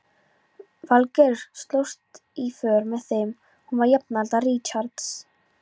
Valgerður slóst í för með þeim, hún var jafnaldra Richards.